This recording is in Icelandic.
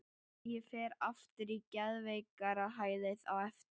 Ég fer aftur á geðveikrahælið á eftir.